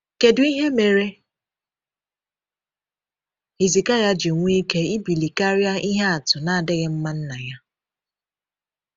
Kedu ihe mere Hizikaịa ji nwee ike ịbili karịa ihe atụ na-adịghị mma nna ya?